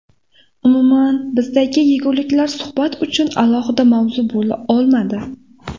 Umuman bizdagi yeguliklar suhbat uchun alohida mavzu bo‘la oladi.